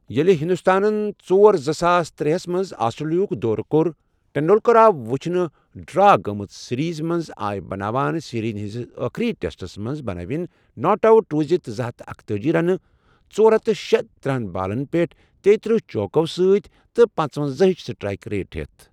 ییلہٕ ہندوستانن ژور زٕساس ترے ہَس منٛز آسٹریلیا ہُک دۄرٕ کوٚر ٹنڈولکر آو وچھنہٕ ڈرا گٔمٕژ سیریز منٛز آے بناوان سیریز ہنٛدِس آخری ٹیسٹس منٛز، بنٲوِن ناٹ اوت روزتھ زٕ ہتھ اکتأجی رنہٕ ژۄر ہتھ شےتٕرہ بالن تیٖتٕرہ چوکو سۭتۍ پنژونزاہ ہٕچ سٹرائیک ریٹ پٮ۪ٹھ